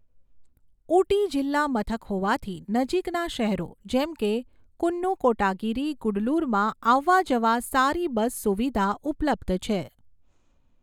ઊટી જિલ્લા મથક હોવાથી નજીકના શહેરો જેમકે કુન્નુ કોટાગિરી ગુડલુરમાં આવવા જવા સારી બસ સુવિધા ઉપલબ્ધ છે.